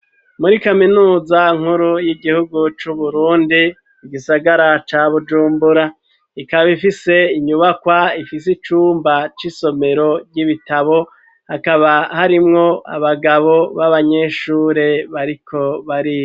Muri kaminuza nkuru y'igihugu c'uburundi, igisagara ca bujumbura ,ikaba ifise inyubakwa ,ifise icumba c'isomero vy'ibitabo ,hakaba harimwo abagabo b'abanyeshure bariko bariga